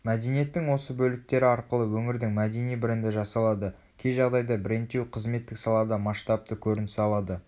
мәдениеттің осы бөліктері арқылы өңірдің мәдени бренді жасалады кей жағдайда брендтеу қызметтік салада масштабты көрініс алады